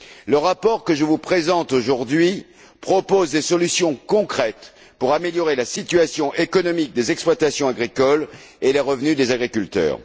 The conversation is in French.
Le rapport que je vous présente aujourd'hui propose des solutions concrètes pour améliorer la situation économique des exploitations agricoles et les revenus des agriculteurs.